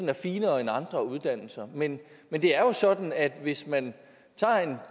er finere end andre uddannelser men men det er jo sådan at hvis man tager en